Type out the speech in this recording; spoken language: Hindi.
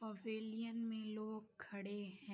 पवेलियन में लोग खड़े हैं।